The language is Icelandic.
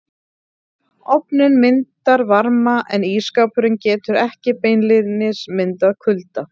Ofninn myndar varma en ísskápurinn getur ekki beinlínis myndað kulda.